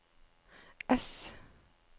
ess